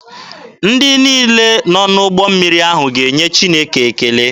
Ndị niile nọ n'ụgbọ mmiri ahụ ga-enye Chineke ekele.